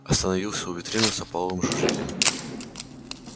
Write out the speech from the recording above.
остановился у витрины с опаловым ожерельем